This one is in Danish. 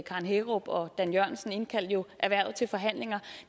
karen hækkerup og dan jørgensen de indkaldte jo erhvervet til forhandlinger